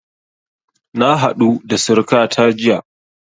Na haɗu da surukata jiya